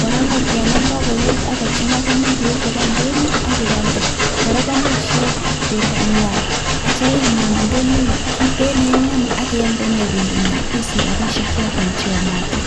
kora kongaini ko yan kokoet ak kochanga komuch keib koba ndonyo abialde. Kora komuch ieny bendonywa atya inam ndonyo kitikin eng yoo ak ialde ine bendokwany isich rabiishek choton yomotin.